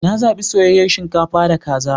Na zaɓi soyayyar shinkafa da kaza.